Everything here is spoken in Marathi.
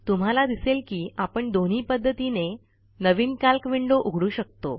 तुम्हाला दिसेल की आपण दोन्ही पध्दतीने नवीन कॅल्क विंडो उघडू शकतो